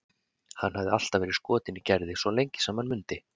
Hann hafði alltaf verið skotinn í Gerði, svo lengi sem hann mundi.